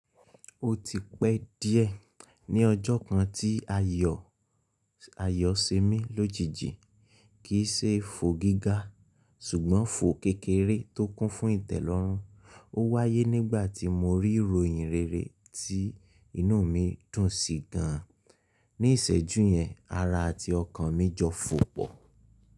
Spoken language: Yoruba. Ó ti pẹ́ díẹ̀ ní ọjọ́ kan tí ayọ̀ ayọ̀ ṣe mí lójijì, kì í ṣe fo gíga, ṣùgbọ́n fo kékeré tó kún fún ìtẹ́lọ́rùn. Ó wáyé nígbà tí mo rí ìròyìn rere tí inú mi dùn sí gan. Ní ìṣẹ́jú yẹn, ara àti ọkàn mi jọ fò pọ̀.